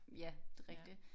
Ja. Det er rigtigt